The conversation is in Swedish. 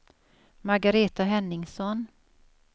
Margaretha Henningsson